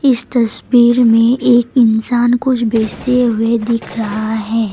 इस तस्वीर में एक इंसान कुछ बेचते हुए दिख रहा है।